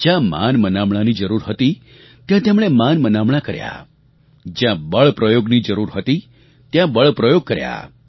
જ્યાં માનમનામણાંની જરૂર હતી ત્યાં તેમણે માનમનામણાં કર્યા જ્યાં બળપ્રયોગની જરૂર હતી ત્યાં બળપ્રયોગ કર્યો